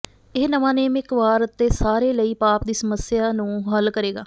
ਇਹ ਨਵਾਂ ਨੇਮ ਇੱਕ ਵਾਰ ਅਤੇ ਸਾਰੇ ਲਈ ਪਾਪ ਦੀ ਸਮੱਸਿਆ ਨੂੰ ਹੱਲ ਕਰੇਗਾ